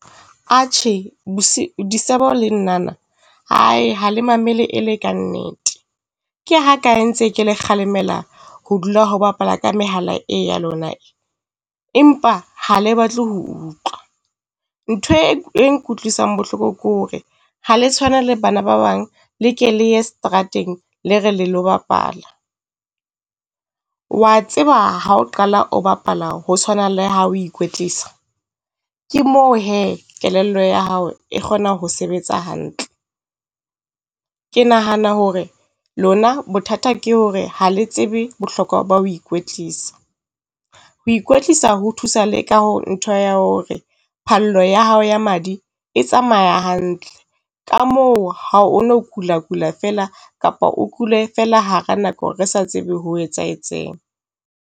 Atjhe, Disebo le Nnana hae ha le mamele e le kannete. Ke ha kae ntse ke le kgalemela ho dula ho bapala ka mehala e ya lona e? Empa ha le batle ho utlwa. Nthwe e nkutlwisang bohloko ke hore ha le tshwane le bana ba bang, le ke le ye seterateng, le re le lo bapala. Wa tseba ha o qala o bapala ho tshwana Le ha o ikwetlisa? Ke mo hee kelello ya hao e kgona ho sebetsa hantle. Ke nahana hore lona bothata ke hore ha le tsebe bohlokwa ba ho ikwetlisa. Ho ikwetlisa ho thusa le ka ho ntho ya hore phalo ya hao ya madi e tsamaya hantle. Ka moo ha o no kula kula feela kapa o kule feela hara nako re sa tsebe ho etsahetseng.